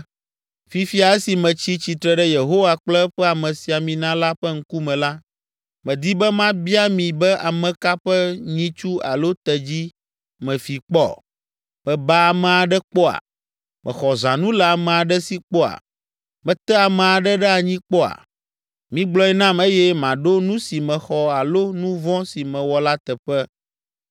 Fifia, esi metsi tsitre ɖe Yehowa kple eƒe amesiamina la ƒe ŋkume la, medi be mabia mi be ame ka ƒe nyitsu alo tedzi mefi kpɔ? Meba ame aɖe kpɔa? Mexɔ zãnu le ame aɖe si kpɔa? Mete ame aɖe ɖe anyi kpɔa? Migblɔe nam eye maɖo nu si mexɔ alo nu vɔ̃ si mewɔ la teƒe.”